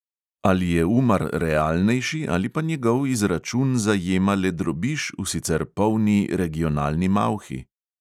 Ali je umar realnejši ali pa njegov izračun zajema le drobiž v sicer polni regionalni malhi?